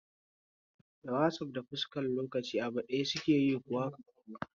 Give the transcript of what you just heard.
Da wasaf da fuskar lokaci abu daya suke yi kuwa?